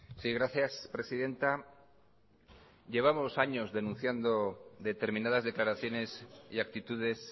sí gracias presidenta llevamos años denunciando determinadas declaraciones y actitudes